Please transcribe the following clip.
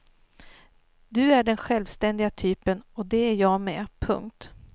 Du är den självständiga typen och det är jag med. punkt